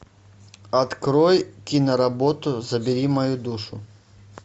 открой киноработу забери мою душу